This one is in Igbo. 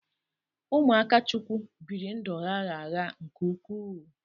Ụmụ Akachukwu biri ndụ gha gha gha nke ukwuu.